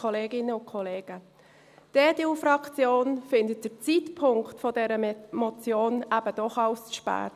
Die EDU-Fraktion empfindet den Zeitpunkt dieser Motion eben doch als zu spät.